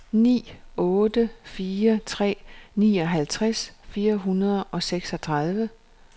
ni otte fire tre nioghalvtreds fire hundrede og seksogtredive